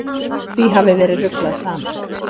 Því hafi verið ruglað saman.